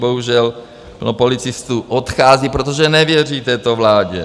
Bohužel plno policistů odchází, protože nevěří této vládě.